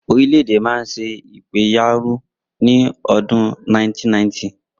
Orílẹ̀-èdè náà ń ṣe ìpẹ̀yàrun ní ọdún 1990.